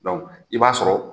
Dɔnku i b'a sɔrɔ